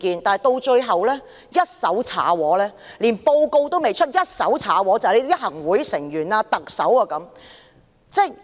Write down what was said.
然而，最後連報告尚未發表，便被行政會議成員和特首一手搞垮。